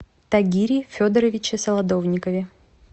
тагире федоровиче солодовникове